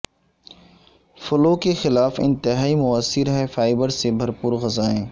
flu کے خلاف انتہائی موثر ہے فائبر سے بھرپور غذائیں